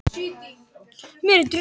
Ég skal ekki dæma um það.